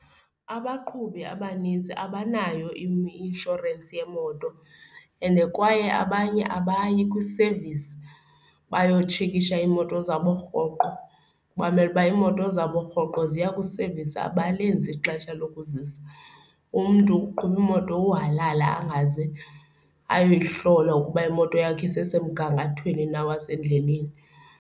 Abaqhubi abanintsi abanayo inshorensi yemoto, ende kwaye abanye abayi kwi-service bayotshekisha iimoto zabo rhoqo. Bamele uba imoto zabo rhoqo ziya kwi-service. Abalenzi ixesha lokuzisa, umntu uqhuba imoto uhalala angaze ayoyihlola ukuba imoto yakhe isesemgangathweni na wasendleleni.